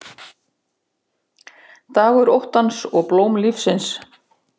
Dagur óttans og blóm lífsins